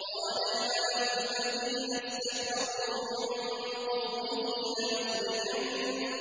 ۞ قَالَ الْمَلَأُ الَّذِينَ اسْتَكْبَرُوا مِن قَوْمِهِ لَنُخْرِجَنَّكَ يَا